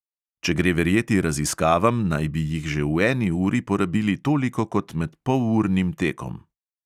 Če gre verjeti raziskavam, naj bi jih že v eni uri porabili toliko kot med polurnim tekom.